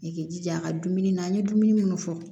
I k'i jija a ka dumuni na an ye dumuni munnu fɔ